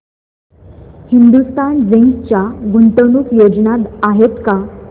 Hindustan zinc च्या गुंतवणूक योजना आहेत का